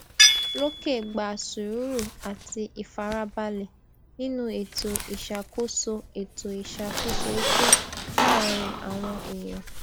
lókè gba sùúrù àti ìfarabalẹ nínú ètò ìṣàkóso ètò ìṣàkóso iṣẹ láàárín àwọn èèyàn